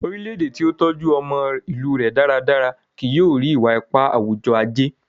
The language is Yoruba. orilẹ-ede ti o tọjú ọmọ ilù rẹ dáradára kìí yóò ri, iwa-ipa awujọ-aje